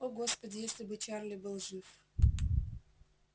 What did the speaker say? о господи если бы чарли был жив